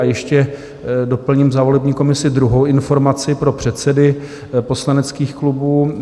A ještě doplním za volební komisi druhou informaci pro předsedy poslaneckých klubů.